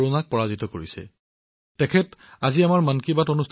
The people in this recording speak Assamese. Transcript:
গুৰুগ্ৰামৰ প্ৰীতি চতুৰ্বেদীজীয়েও শেহতীয়াকৈ কৰোনাক পৰাজিত কৰিছে